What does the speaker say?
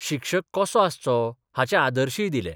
शिक्षक कसो आसचो हाचे आदर्शय दिले.